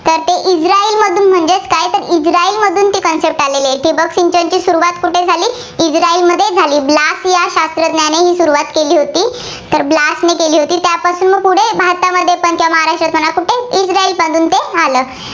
ठिबक सिंचनची सुरुवात कुठे झाली. इस्राईलमध्ये झाली, ब्लास या शास्त्रज्ञाने ही सुरुवात केली होती. तर ब्लासने केली होती, त्यापासून पुढे भारतामध्ये इस्राईलच्यानंतर